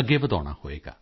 ਅੱਗੇ ਵਧਾਉਣਾ ਹੋਵੇਗਾ